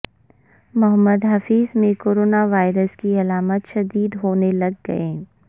محمد حفیظ میں corona virus کی علامات شدید ہونے لگ گئیں